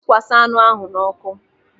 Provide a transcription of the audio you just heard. Sikwasa anụ ahụ n'ọkụ.